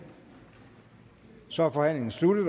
så er forhandlingen sluttet